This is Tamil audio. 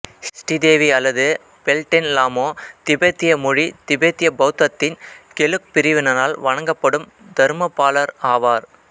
ஸ்ரீதேவி அல்லது பெல்டென் லாமோ திபெத்திய மொழி திபெத்திய பௌத்தத்தின் கெலுக் பிரிவினரால் வணங்கப்படும் தர்மபாலர் ஆவார்